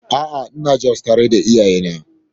A'a, ina zaune a Jos tare da iyayena.